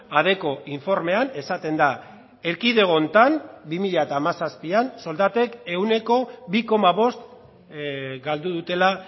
adecco informean esaten da erkidego honetan bi mila hamazazpian soldatek ehuneko bi koma bost galdu dutela